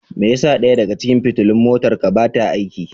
Me yasa ɗaya daga cikin fitilun motarka ba ta aiki?